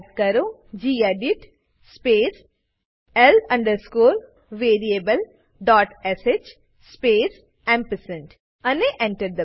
type કરો gedit space l variablesh space ampersand Enter